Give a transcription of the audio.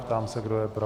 Ptám se, kdo je pro.